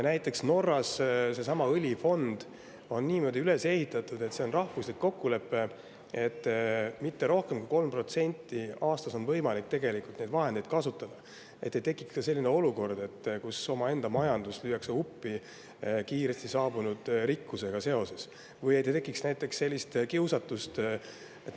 Näiteks Norras on seesama õlifond niimoodi üles ehitatud, et on rahvuslik kokkulepe, et mitte rohkem kui 3% aastas on võimalik tegelikult neid vahendeid kasutada, et ei tekiks ka sellist olukorda, kus omaenda majandus lüüakse uppi kiiresti saabunud rikkusega seoses, või et ei tekiks näiteks sellist kiusatust.